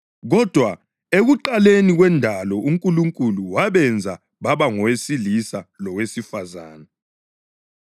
Kodwa ekuqaleni kwendalo uNkulunkulu ‘wabenza baba ngowesilisa lowesifazane.’ + 10.6 UGenesisi 1.27